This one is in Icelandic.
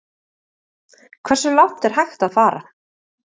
Hversu langt er hægt að fara?